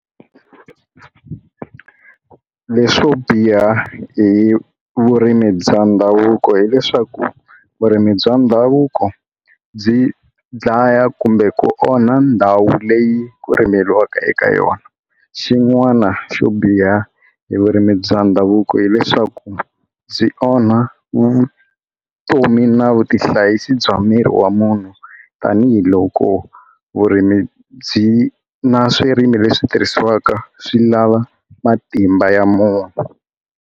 Leswo biha hi vurimi bya ndhavuko hileswaku vurimi bya ndhavuko byi dlaya kumbe ku onha ndhawu leyi ku rimeriwaka eka yona xin'wana xo biha hi vurimi bya ndhavuko hileswaku byi onha vu vutomi na vu tihlayisi bya miri wa munhu tanihiloko vurimi byi na swirimi leswi tirhisiwaka swi lava matimba ya munhu.